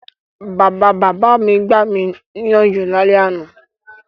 Bàbabàbá mi gbami níyànjú lálẹ́ àná.